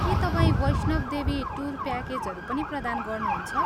के तपाईँ वैष्णव देवी टुर प्याकेजहरू पनि प्रदान गर्नुहुन्छ?